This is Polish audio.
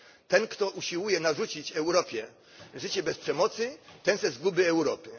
Ten, kto usiłuje narzucić Europie życie bez przemocy, ten chce zguby Europy.